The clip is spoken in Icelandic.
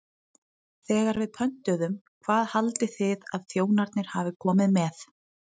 Þegar við pöntuðum, hvað haldið þið að þjónarnir hafi komið með?